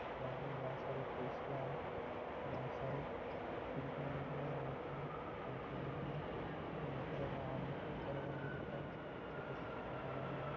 यहा पर बहोत सारी कुर्सियाँ बहोत सारी खिड़कियां दिख रही है बहोत सारी पंका दिख रहे है यहा पर खिड़की पर पर्दा पर्दा डाला हुआ है|